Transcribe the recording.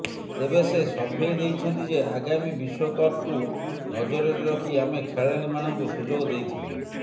ତେବେ ସେ ସଫେଇ ଦେଇଛନ୍ତି ଯେ ଆଗାମୀ ବିଶ୍ୱକପ୍କୁ ନଜରରେ ରଖି ଆମେ ଖେଳାଳିମାନଙ୍କୁ ସୁଯୋଗ ଦେଇଥିଲୁ